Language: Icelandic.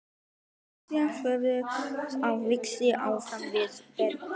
Og hrista höfuðið og hlæja á víxl framan við herbergið.